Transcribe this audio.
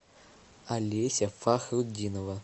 олеся фахрутдинова